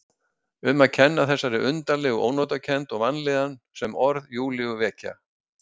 Um að kenna þessari undarlegu ónotakennd og vanlíðan sem orð Júlíu vekja.